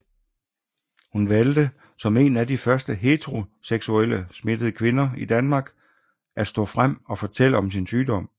Hun valgte som en af de første heteroseksuelt smittede kvinder i Danmark at stå frem og fortælle om sin sygdom